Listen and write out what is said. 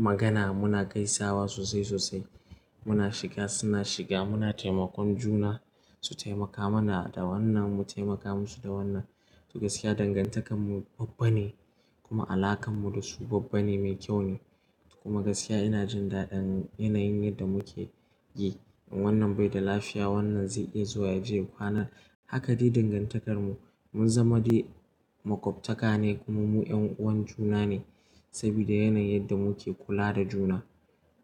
magana muna gaisawa sosai sosai. Muna shiga suna shiga muna taimakon juna su taimaka mana da wannan mu taimaka musu da wannan. To gaskiya dangantakar mu babba ne kuma alakar mu da su babba ne mai kyau ne. Kuma gaskiya ina jin daɗin yanayin yadda muke yi. Wannan bai da lafiya wannan zai iya zuwa yaje kwana haka dai dangantakar mu mun zama dai makwabtaka ne kuma mu 'yan'uwan juna ne. Saboda yanayin yadda muke kula da juna